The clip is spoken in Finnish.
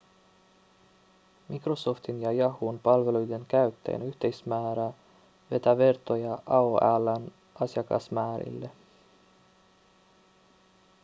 microsoftin ja yahoon palveluiden käyttäjien yhteismäärä vetää vertoja aol:n asiakasmäärille